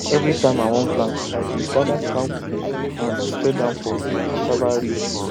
every time i wan plant i dey gather cow poo and spread am for cassava ridge